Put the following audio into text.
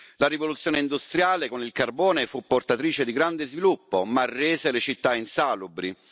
La rivoluzione industriale, con il carbone, fu portatrice di grande sviluppo, ma rese le città insalubri.